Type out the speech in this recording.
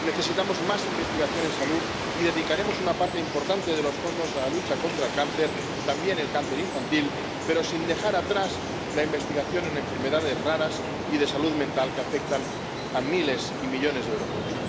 Necesitamos más investigación en salud, y dedicaremos una parte importante de los fondos a la lucha contra el cáncer —también el cáncer infantil—, pero sin dejar atrás la investigación en enfermedades raras y de salud mental, que afectan a miles y millones de europeos.